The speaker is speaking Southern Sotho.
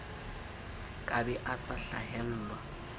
ka be a sa hlahelwa